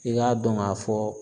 I k'a dɔn k'a fɔ